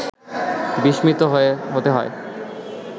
বিস্মিত হতে হয়